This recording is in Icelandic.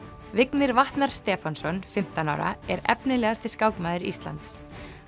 Vignir Vatnar Stefánsson fimmtán ára er efnilegasti skákmaður Íslands